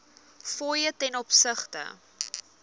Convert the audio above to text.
fooie ten opsigte